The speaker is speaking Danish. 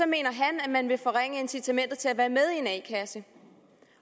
mener han at man vil forringe incitamentet til at være med i en a kasse